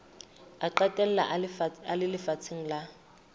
a qetella a le lefatsheng